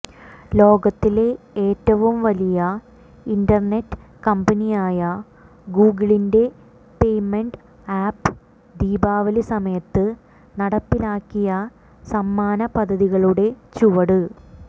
ലോകത്തിലെ ഏറ്റവും വലിയ ഇന്റര്നെറ്റ് കമ്പനിയായ ഗൂഗിളിന്റെ പേമെന്റ് ആപ്പ് ദീപാവലി സമയത്ത് നടപ്പിലാക്കിയ സമ്മാന പദ്ധതികളുടെ ചുവട്